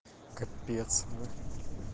капец ну